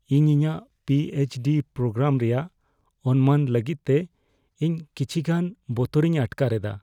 ᱤᱧ ᱤᱧᱟᱹᱜ P H D programme ᱨᱮᱭᱟᱜ ᱚᱱᱢᱟᱱ ᱞᱟᱹᱜᱤᱫ ᱛᱮ ᱤᱧ ᱠᱤᱪᱷᱤ ᱜᱟᱱ ᱵᱚᱛᱚᱨᱤᱧ ᱟᱴᱠᱟᱨ ᱮᱫᱟ ᱾